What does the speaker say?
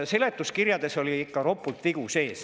Seletuskirjades oli ikka ropult vigu sees.